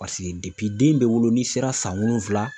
den bɛ wolo n'i sera san wolonwula